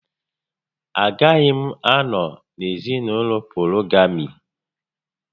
Agaghị m anọ n'ezinaụlọ polygamy